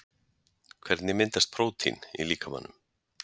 hvernig myndast prótín í líkamanum